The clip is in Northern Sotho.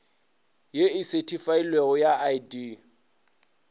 ye e sethifailwego ya id